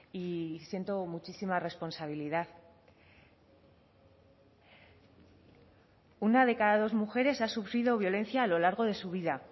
y siento muchísima responsabilidad una de cada dos mujeres ha sufrido violencia a lo largo de su vida